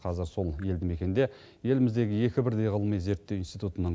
қазір сол елді мекенде еліміздегі екі бірдей ғылыми зерттеу институтының